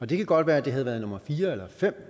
det kan godt være det havde været nummer fire eller fem